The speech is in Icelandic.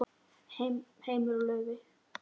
Heimir og Laufey.